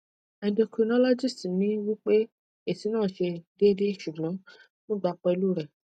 endocrinologist mi wipe esi na se deede sugbon mo gba pelu re